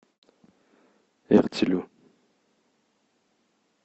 эртилю